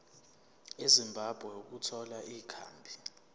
ezimbabwe ukuthola ikhambi